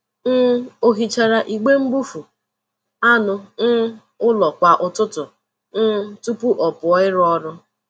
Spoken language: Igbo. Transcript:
um O hichara igbe mbufụ anụ um ụlọ kwa ụtụtụ um tupu ọ pụọ ịrụ ọrụ.